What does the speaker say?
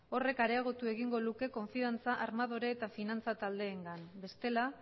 horrek areagotu egingo luke konfidantza armadore eta finantza taldeengan bestela